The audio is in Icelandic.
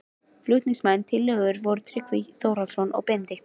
Flutningsmenn tillögunnar voru Tryggvi Þórhallsson og Benedikt